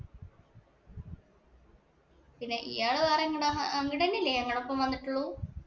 പിന്നെ ഇയാള് വേറെ എങ്ങടാ അങ്ങട്ട് തന്നെയല്ലേ ഞങ്ങടെയൊപ്പം വന്നിട്ടുള്ളൂ.